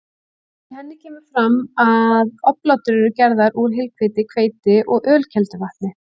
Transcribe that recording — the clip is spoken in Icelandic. Í henni kemur fram að oblátur eru gerðar úr heilhveiti, hveiti og ölkelduvatni.